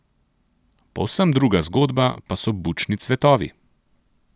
Povsem druga zgodba pa so bučni cvetovi.